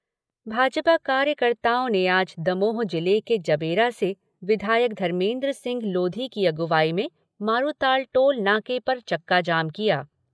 भाजपा कार्यकर्ताओं ने आज दमोह जिले के जबेरा से विधायक धर्मेन्द्र सिंह लोधी की अगुवाई में मारूताल टोल नाके पर चक्काजाम किया।